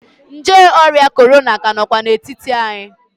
Nje ọrịa korona ka nọkwa n'etiti anyị.